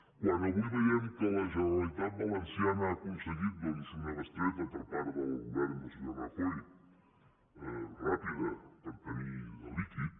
quan avui veiem que la generalitat valenciana ha aconseguit doncs una bestreta per part del govern del senyor rajoy ràpida per tenir líquid